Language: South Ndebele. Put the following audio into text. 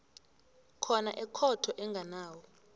khona ekhotho enganawo